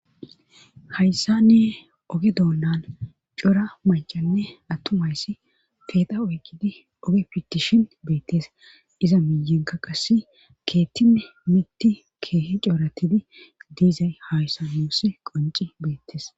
Hayssane oge doonnan cora macanne attuma issi peexa oykkidi oge pitishin beettes. Iza miyenka qasse keettine mitti keehe cooratidi diizay hayssa nuussi qonci beettes.